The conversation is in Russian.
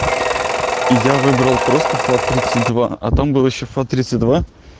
я выбрал просто фат тридцать два а там был ещё фат тридцать два